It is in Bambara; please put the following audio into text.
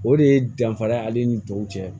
O de ye danfara ale ni tɔw cɛ